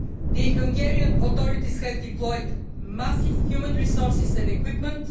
The Hungarian authorities have deployed massive human resources and equipment.